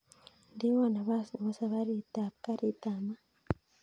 Indewon napas bebo saparit ab garit ab maat